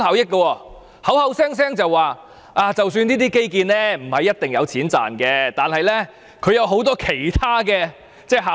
它只會口口聲聲說，即使這些基建不一定有錢賺，但也有很多其他效益。